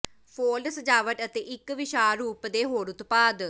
fold ਸਜਾਵਟ ਅਤੇ ਇੱਕ ਵਿਸ਼ਾਲ ਰੂਪ ਦੇ ਹੋਰ ਉਤਪਾਦ